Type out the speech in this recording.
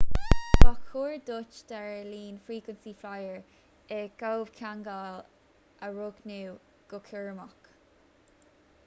ba chóir duit d'aerlíne frequency flyer i gcomhcheangal a roghnú go cúramach